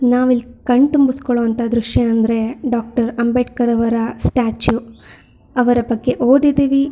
ನಾವಿಲ್ಲಿ ಕಣ್ತುಂಬಿಸಿಕೊಳ್ಳೋ ಅಂತ ದೃಶ್ಯ ಅಂದ್ರೆ ಡಾಕ್ಟರ್ ಅಂಬೇಡ್ಕರ್ ಅವರ ಸ್ಟ್ಯಾಚು ಅವರ ಬಗ್ಗೆ ಓದಿದೀವಿ.